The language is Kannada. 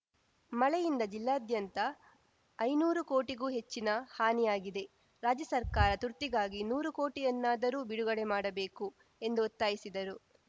ಮಳೆಯಿಂದ ಜಿಲ್ಲಾದ್ಯಂತ ಐನೂರು ಕೋಟಿಗೂ ಹೆಚ್ಚಿನ ಹಾನಿಯಾಗಿದೆ ರಾಜ್ಯ ಸರ್ಕಾರ ತುರ್ತಿಗಾಗಿ ನೂರು ಕೋಟಿಯನ್ನಾದರೂ ಬಿಡುಗಡೆ ಮಾಡಬೇಕು ಎಂದು ಒತ್ತಾಯಿಸಿದರು